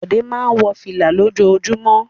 Bọ̀dé máa ń wọ fìlà lójoojúmọ́.